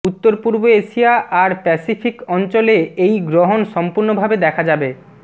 উত্তর পূর্ব এশিয়া আর প্যাসিফিক অঞ্চলে এই গ্রহন সম্পূর্ণ ভাবে দেখা যাবে